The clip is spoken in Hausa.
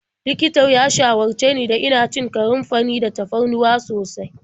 Likitan ya shawarce ni da ina cin kanunfari da tafarnuwa sosai.